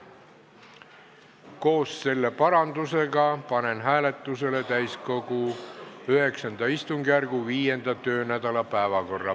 Koos selle parandusega panen hääletusele täiskogu IX istungjärgu 5. töönädala päevakorra.